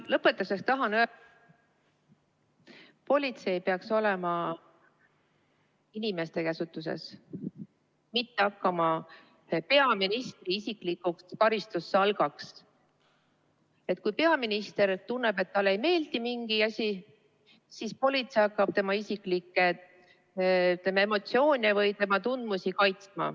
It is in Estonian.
Lõpetuseks tahan öelda, et politsei peaks olema inimeste käsutuses, mitte hakkama peaministri isiklikuks karistussalgaks, nii et kui peaminister tunneb, et talle ei meeldi mingi asi, siis politsei hakkab tema isiklikke emotsioone või tema tundmusi kaitsma.